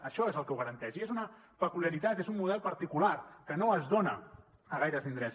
això és el que ho garanteix i és una peculiaritat és un model particular que no es dona a gaires indrets